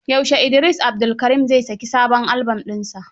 Yaushe Idris Abdulkarim zai saki sabon albon ɗinsa?